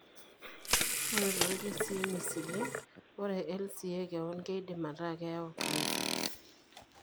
Ore toorkesii misili, ore LCA kewon keidim ataa enayau cancer.